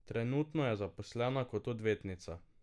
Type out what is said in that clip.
Trenutno je zaposlena kot odvetnica.